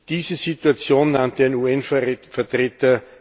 Diese Situation nannte ein UN Vertreter